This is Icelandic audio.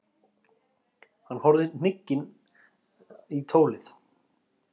Hann horfði hnugginn í tólið.